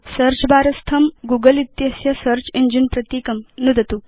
search bar स्थं Google इत्यस्य search engine प्रतीकं नुदतु